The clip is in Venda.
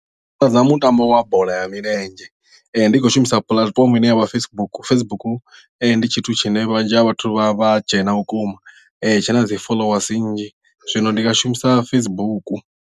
Ndi mutambo wa bola ya milenzhe ndi khou shumisa puḽatifomo ine yavha Facebook Facebook ndi tshithu tshine vhunzhi ha vhathu vha vha dzhena vhukuma tshi na dzi followasi nnzhi zwino ndi nga shumisa Facebook.